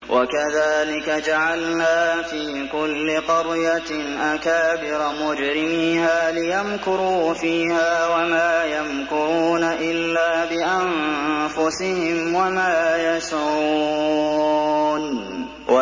وَكَذَٰلِكَ جَعَلْنَا فِي كُلِّ قَرْيَةٍ أَكَابِرَ مُجْرِمِيهَا لِيَمْكُرُوا فِيهَا ۖ وَمَا يَمْكُرُونَ إِلَّا بِأَنفُسِهِمْ وَمَا يَشْعُرُونَ